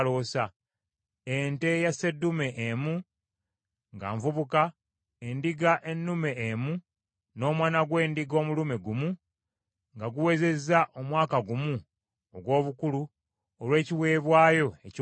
ente eya sseddume emu nga nvubuka, endiga ennume emu, n’omwana gw’endiga omulume gumu nga guwezezza omwaka gumu ogw’obukulu, olw’ekiweebwayo ekyokebwa;